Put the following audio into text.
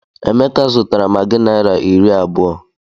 Emeka zụtara maggi naira iri abụọ.